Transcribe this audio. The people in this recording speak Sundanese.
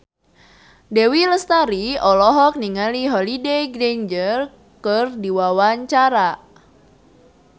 Dewi Lestari olohok ningali Holliday Grainger keur diwawancara